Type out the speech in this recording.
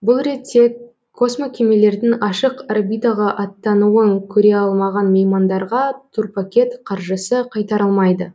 бұл ретте космокемелердің ашық орбитаға аттануын көре алмаған меймандарға турпакет қаржысы қайтарылмайды